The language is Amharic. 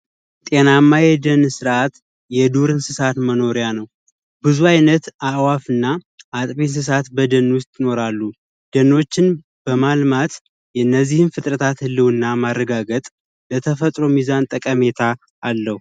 ጤናማ የደን ስርዓት የዱር እንስሳት መኖሪያ ነው ብዙ ዓይነትና አጥቢ እንስሳት በደን ውስጥ ይኖራሉ ደኖችን በማልማት የነዚህን ፍጥረታት ህልውና ማረጋገጥ ለተፈጥሮ ሚዛን ጠቀሜታ አለው።